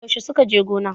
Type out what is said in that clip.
Yaushe suka je gona?